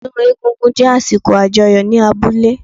Ọdún egún-gún jé àsìkò àjọyọ̀ ní abúlé